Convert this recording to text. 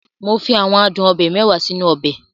Mo fi àwọn adun obe mẹ́wàá sínú ọbẹ̀.